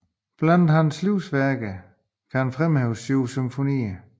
Blandt hans værker kan fremhæves syv symfonier